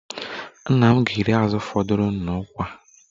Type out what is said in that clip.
Nna m ga-eri azụ fọdụrụnụ n'ukwa